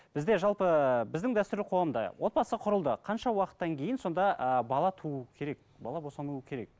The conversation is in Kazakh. бізде жалпы біздің дәстүрлі қоғамда отбасы құрылды қанша уақыттан кейін сонда ы бала туу керек бала босану керек